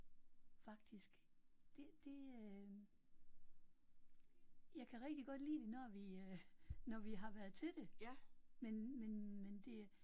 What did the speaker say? Faktisk det det øh. Jeg kan rigtig godt lide det når vi øh når vi har været til det men men men det